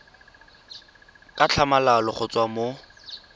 ka tlhamalalo go tswa mo